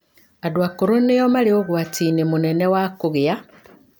Andũ akũrũ nĩo marĩ ũgwati-inĩ mũnene wa kũgĩa